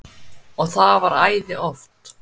Og það var æði oft.